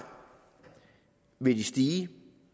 vil det stige